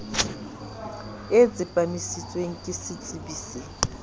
e tsepamisitsweng ke setsebi se